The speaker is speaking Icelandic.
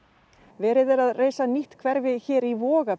verið er að reisa nýtt hverfi hér í